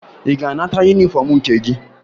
Ị ga-anata yunifọmụ nke gị?